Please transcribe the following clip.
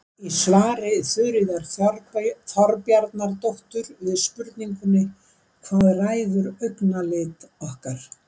í svari þuríðar þorbjarnardóttur við spurningunni hvað ræður augnalit okkar